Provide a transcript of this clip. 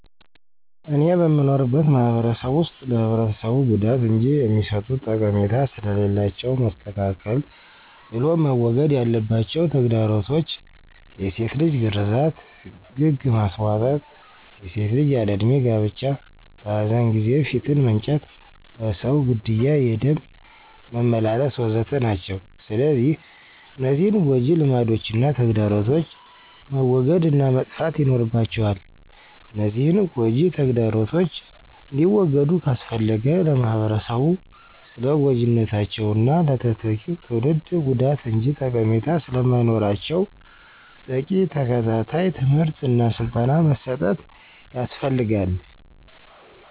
እኔ በምኖርበት ማህበረሰብ ውስጥ ለህብረተሰቡ ጉዳት እንጅ የሚሰጡት ጠቀሜታ ስለሌላቸው መስተካከል ብሎም መወገድ ያለባቸው ተግዳሮቶች፣ የሴት ልጅ ግርዛት፣ ግግ ማስቧጠጥ፣ የሴት ልጅ ያለ እድሜ ጋብቻ፣ በኃዘን ጊዜ ፊት መንጨት፣ በሰው ግድያ የደም መመላለስ፣ ወ.ዘ.ተ... ናቸው። ስለዚህ እነዚህን ጎጅ ልማዶችና ተግዳሮቶች መወገድ እና መጥፋት ይኖርባቸዋል፤ እነዚህን ጎጅ ተግዳሮቶች እንዲወገዱ ካስፈለገ ለማህበረሰቡ ስለጎጅነታቸውና ለተተኪው ትውልድ ጉዳት እንጅ ጠቀሜታ ስለማይኖራቸው በቂ ተከታታይ ትምህርት እና ስልጠና መስጠት ያስፈልጋል።